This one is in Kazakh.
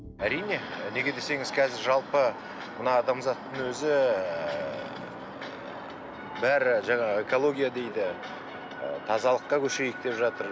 әрине неге десеңіз қазір жалпы мына адамзаттың өзі ыыы бәрі жаңағы экология дейді тазалыққа көшейік деп жатыр